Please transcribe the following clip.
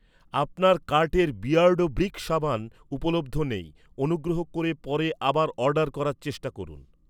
আপনার কার্টের Beardo brick সাবান উপলব্ধ নেই, অনুগ্রহ করে পরে আবার অর্ডার করার চেষ্টা করুন।